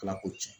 Ala ko cɛn